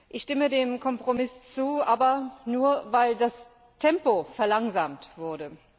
Ich stimme dem Kompromiss zu, aber nur weil das Tempo verlangsamt wurde.